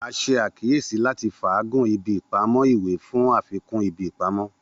A ṣe akiyesi lati faagun ibi ipamọ iwe fun afikun ibi ipamọ.